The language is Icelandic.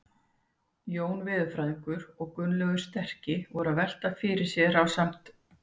Jón veðurfræðingur og Gunnlaugur sterki voru að velta fyrir sér ásamt